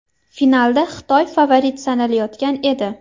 Finalda Xitoy favorit sanalayotgan edi.